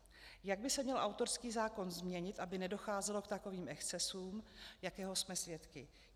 Jak by se měl autorský zákon změnit, aby nedocházelo k takovým excesům, jakého jsme svědky?